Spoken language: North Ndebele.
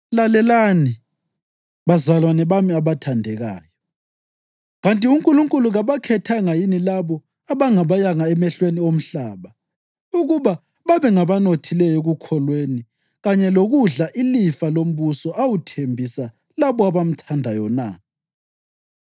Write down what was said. Lalelani, bazalwane bami abathandekayo: Kanti uNkulunkulu kabakhethanga yini labo abangabayanga emehlweni omhlaba ukuba babengabanothileyo ekukholweni kanye lokudla ilifa lombuso awuthembisa labo abamthandayo na?